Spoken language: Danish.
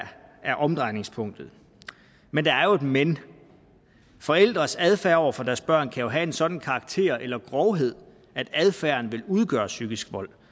er omdrejningspunktet men der er jo et men forældres adfærd over for deres børn kan jo have en sådan karakter eller grovhed at adfærden vil udgøre psykisk vold